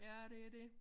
Ja det dét